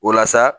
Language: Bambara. O la sa